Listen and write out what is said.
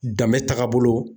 Danbe tagabolo